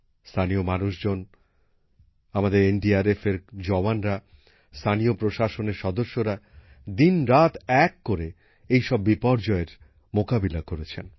স্থানীয় মানুষজন আমাদের এনডিআরএফের জওয়ানরা স্থানীয় প্রশাসনের সদস্যরা দিনরাত এক করে এই সব বিপর্যয়ের মোকাবিলা করেছেন